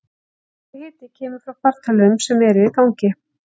Nokkur hiti kemur frá fartölvum sem eru í gangi.